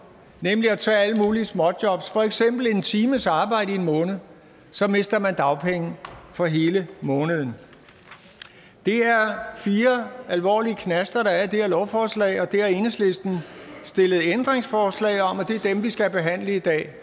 nemlig at tage alle mulige småjobs for eksempel en times arbejde i en måned mister man dagpenge for hele måneden det er fire alvorlige knaster der er i det her lovforslag og det har enhedslisten stillet ændringsforslag om og det er dem vi skal behandle i dag